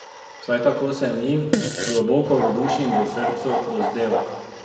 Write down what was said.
Vsaj tako se mi, globoko v duši in v srcu, dozdeva.